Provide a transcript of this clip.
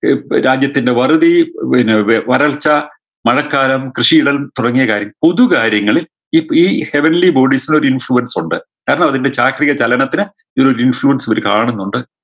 ഏർ പി രാജ്യത്തിൻറെ വറുതി വിന്നെ വ വരൾച്ച മഴക്കാലം കൃഷിയിടം തുടങ്ങിയ കാര്യം പൊതു കാര്യങ്ങളിൽ ഈ പ് ഈ heavenly bodies ല് ഒരു influence ഉണ്ട് കാരണം അതിൻറെ ചാക്രിക ചലനത്തിന് ഈ ഒരു influence ഇവര് കാണുന്നുണ്ട്